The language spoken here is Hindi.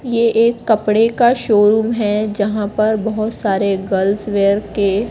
ये एक कपड़े का शोरूम है जहाँ पर बहोत सारे गर्ल्स वियर के--